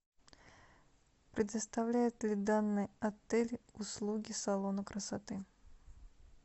предоставляет ли данный отель услуги салона красоты